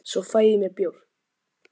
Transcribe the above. svo fæ ég mér bjór